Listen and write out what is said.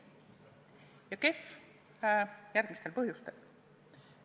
Ja kehv oli see järgmistel põhjustel.